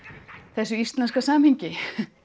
þessu íslenska samhengi